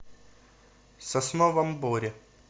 сосновом боре